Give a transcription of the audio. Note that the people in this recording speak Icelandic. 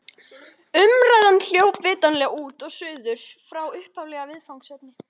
Umræðan hljóp vitanlega út og suður frá upphaflegu viðfangsefni.